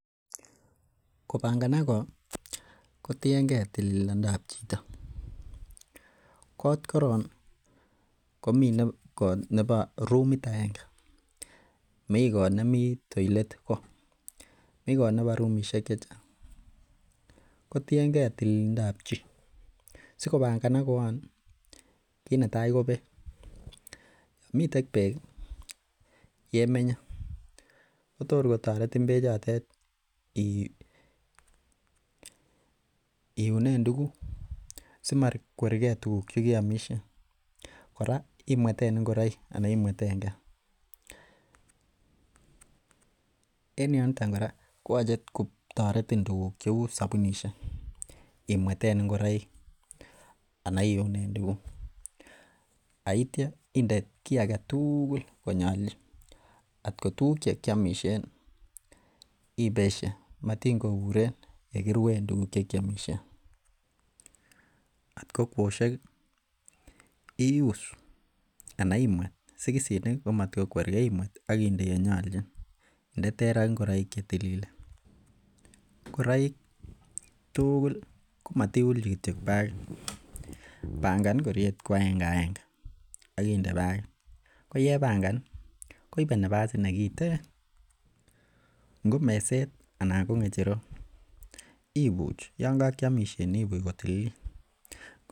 kobanganaak koot kotiyengee tililindo ab chito, koot koroon komiten koot nebo rumiit aenge mii koot nemii toilet koo, mii koot nebo rumishek chechang kotiyengee tililindoab chi, sigobanganak koon iih, kiit netai ko beek miten beek yemenye kotor kotoretin beek chotet iuneen tuguuk simakwerr gee tuguuk chegeomishen, koraa imweten ingoroiik anan imwetengee en yoton koraa koyoche kotoretin tuguuk cheuu sobunishek imweteen ingoroik anan iuneen tuguk yeityoo inde kii agetuguul yenyolchin, koot ko tuguk chekyomisheen iih ibeshe maat ingobureen elegiruen tuguuk chekyomisheen koot ko kosyeek iuus anan imweet mat ko kwergee imweet ak inde yenyolchin inde terr ak ingoroik chetililen, ngoroik tuguukl komatiulchi kityo bagiit bangaan ngorieet ko agenge agenge ak inde bagiit, ko yebangan iih koibe nafasit negiteen, ngo meseet anan ko ngecherook ibuuch yon kokyomiss ibuuch kotililiit.